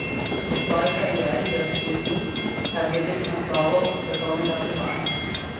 V svoji karieri je osvojil kar devet naslovov svetovnega prvaka.